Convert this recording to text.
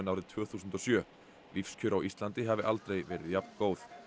árið tvö þúsund og sjö og lífskjör á Íslandi hafi aldrei verið jafn góð